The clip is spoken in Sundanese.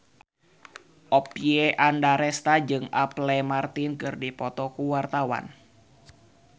Oppie Andaresta jeung Apple Martin keur dipoto ku wartawan